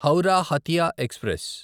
Howrah Hatia express